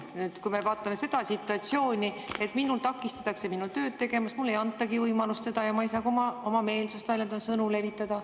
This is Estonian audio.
Nüüd, kui me vaatame seda situatsiooni, siis minul takistatakse minu tööd teha, mulle ei antagi võimalust seda teha, ma ei saa oma meelsust väljendada, sõnu levitada.